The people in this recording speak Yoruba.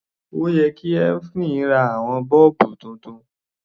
Ó yẹ kí Evelyn ra àwọn bọ́ọ̀bù titun.